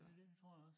Ja det tror jeg også